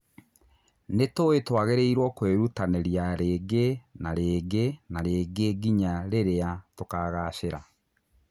Nĩ tũĩ twagĩ rĩ iwo kwĩ rutanĩ ria rĩ ngĩ na rĩ ngĩ na rĩ ngĩ nginya rĩ rĩ a tukagacĩ ra.